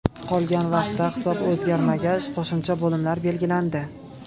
Qolgan vaqtda hisob o‘zgarmagach, qo‘shimcha bo‘limlar belgilandi.